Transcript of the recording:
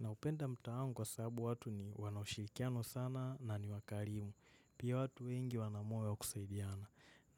Naupenda mtaa wangu kwa sababu watu ni wana ushirikiano sana na ni wakarimu. Pia watu wengi wana moyo wa kusaidiana.